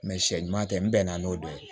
Mɛ sɛ ɲuman tɛ n bɛnna n'o dɔ ye